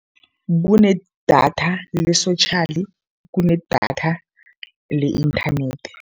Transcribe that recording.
Kunedatha le-social, kunedatha le-inthanethi.